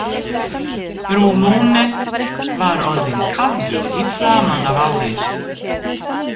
Frú Lune var orðin kafrjóð í framan af áreynslu.